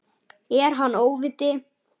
Er hann óviti?